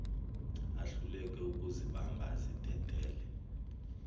ahluleke ukuzibamba azidedele